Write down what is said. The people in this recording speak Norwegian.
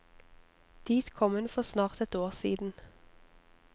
Dit kom hun for snart et år siden.